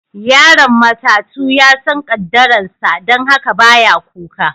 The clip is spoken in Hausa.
Yaron matatu ya san kaddaran sa, dan haka ba ya kuka.